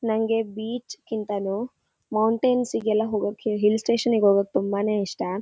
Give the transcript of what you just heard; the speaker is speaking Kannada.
ನಂಗೆ ಬೀಚ್ ಗಿಂತನೂ ಮೌಂಟೈನ್ಸ್ಗೆ ಎಲ್ಲ ಹೋಗೋಕೆ ಹಿಲ್ಸ್ ಸ್ಟೇಷನ್ ಗೆ ಹೋಗೋಕೆ ತುಂಬಾನೆ ಇಷ್ಟ.